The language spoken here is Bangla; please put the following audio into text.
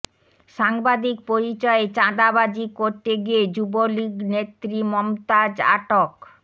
সাংবাদিক পরিচয়ে চাঁদাবাজি করতে গিয়ে যুবলীগ নেত্রী মমতাজ আটক